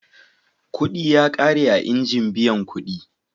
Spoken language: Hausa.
Kuɗi ya ƙare a injin biyan kuɗi.